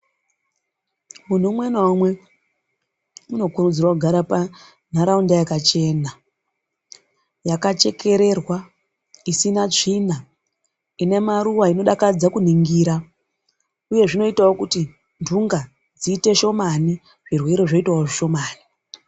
Munhu umwe naumwe unokurudzirwa kugara panharaunda yakachena, yaka chekererwa, isina tsvina inemaruwa, inodakadza kuningira uye zvinoitawo kuti nhunga dziite shomani zvirwere zvoitawo zvishomani.